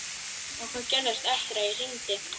Og hvað gerðist eftir að ég hringdi?